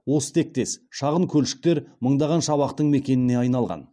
осы тектес шағын көлшіктер мыңдаған шабақтың мекеніне айналған